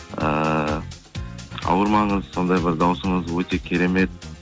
ыыы ауырмаңыз сондай бір дауысыңыз өте керемет